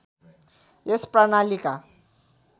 यस प्रणालीका